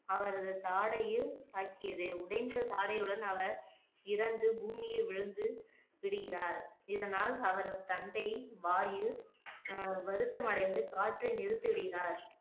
அவரது தாடையில் தாக்கியது உடைந்த தாடையுடன் அவர் இறந்து பூமியில் விழுந்து விடுகிறார் இதனால் அவரது தந்தை வாயு வருத்தம் ஆஹ் அடைந்து காற்றை நிறுத்தி விடுகிறார்